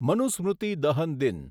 મનુસ્મૃતિ દહન દિન